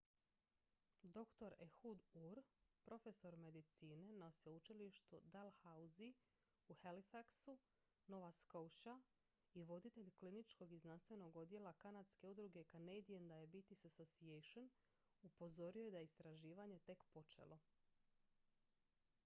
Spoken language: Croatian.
dr ehud ur profesor medicine na sveučilištu dalhousie u halifaxu nova scotia i voditelj kliničkog i znanstvenog odjela kanadske udruge canadian diabetes association upozorio je da je istraživanje tek počelo